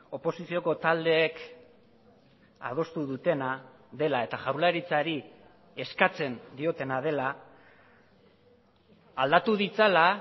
oposizioko taldeek adostu dutena dela eta jaurlaritzari eskatzen diotena dela aldatu ditzala